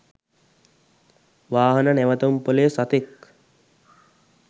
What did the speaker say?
වාහන නැවතුම්පොලේ සතෙක්